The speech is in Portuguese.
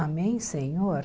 Amém, Senhor!